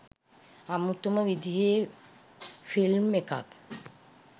අමුතුම විදිහේ ෆිල්ම් එකක්